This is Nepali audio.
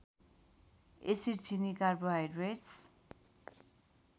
एसिड चिनी कार्बोहाइड्रेट्स